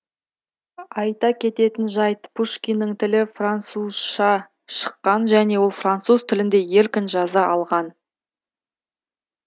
айта кететін жайт пушкиннің тілі французша шыққан және ол француз тілінде еркін жаза алған